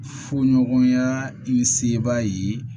Foɲɔgɔnya ni seebaa ye